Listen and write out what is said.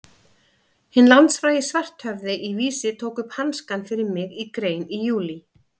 Hinn landsfrægi Svarthöfði í Vísi tók upp hanskann fyrir mig í grein í júlí.